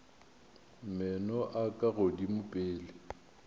meno a ka godimo pele